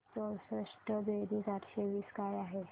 चौसष्ट बेरीज आठशे वीस काय आहे